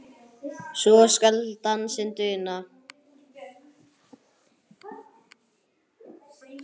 svo skal dansinn duna